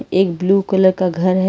एक blue colour का घर है।